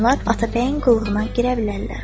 Onlar Atabəyin qulluğuna girə bilərlər.